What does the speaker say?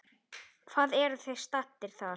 Hvar eruð þið staddir þar?